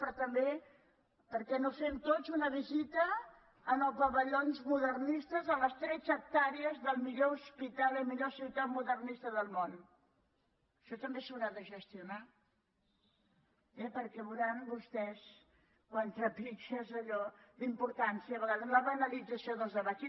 però també per què no fem tots una visita als pavellons modernistes a les tretze hectàrees del millor hospi·tal la millor ciutat modernista del món això també s’haurà de gestionar eh perquè veuran vostès quan trepitges allò la importància i a vegades la banalitza·ció dels debats